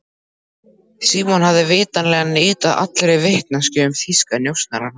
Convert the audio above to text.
Símon hafði vitanlega neitað allri vitneskju um þýska njósnara.